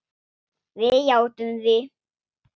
Við játtum því.